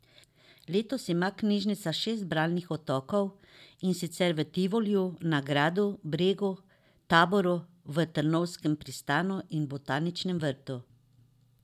Letos ima knjižnica šest bralnih otokov, in sicer v Tivoliju, na Gradu, Bregu, Taboru, v Trnovskem pristanu in Botaničnem vrtu.